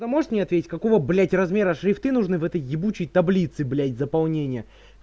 ты можешь мне ответить какого блять размера шрифты нужны в этой ебучей таблицы блять заполнение